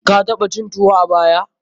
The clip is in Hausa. Ka taɓa cin tuwo a baya?